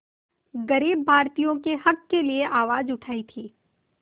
ग़रीब भारतीयों के हक़ के लिए आवाज़ उठाई थी